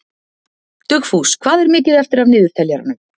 Dugfús, hvað er mikið eftir af niðurteljaranum?